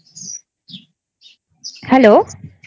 Hello